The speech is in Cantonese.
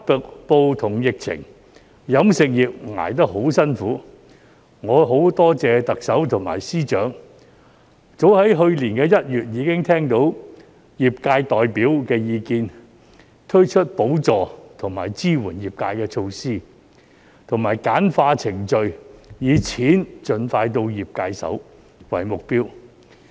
經歷"黑暴"和疫情，飲食業挺得很辛苦，我很多謝特首及司長早於去年1月已經聽到業界代表的意見，推出補助和支援業界的措施，以及簡化程序，以"錢盡快到業界手"為目標。